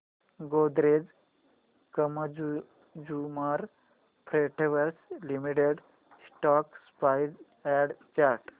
Godrej consumer products limited stock price and chart